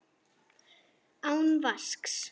Án vasks.